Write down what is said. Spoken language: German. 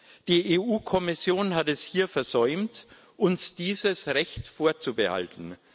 Die Europäische Kommission hat es hier versäumt, uns dieses Recht vorzubehalten.